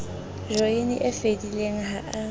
joyene e fedileng ha a